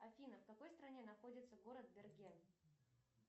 афина в какой стране находится город берген